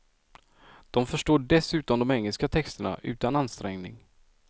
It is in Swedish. De förstår dessutom de engelska texterna utan ansträngning.